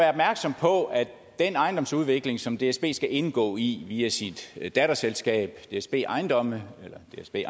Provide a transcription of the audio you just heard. opmærksom på at den ejendomsudvikling som dsb skal indgå i via sit datterselskab dsb ejendomme eller dsb